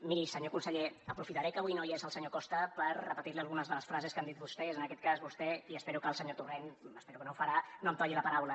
miri senyor conseller aprofitaré que avui no hi és el senyor costa per repetir li algunes de les frases que han dit vostès en aquest cas vostè i espero que el senyor torrent espero que no ho farà no em talli la paraula